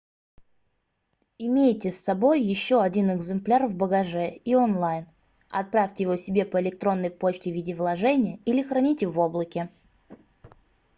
имейте с собой ещё один экземпляр в багаже и онлайн отправьте его себе по электронной почте в виде вложения или храните в облаке"